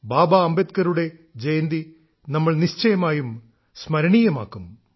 ബാബ അംബേദ്കറുടെ ജയന്തി നമ്മൾ നിശ്ചയമായും സ്മരണീയമാക്കും